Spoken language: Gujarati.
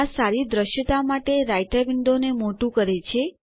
આ સારી દૃશ્યતા માટે રાઈટર વિન્ડોને મોટું કરે છે